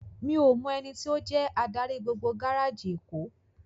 Mi ó mò èniti ó jè ádári gbógbó gáráji Ékó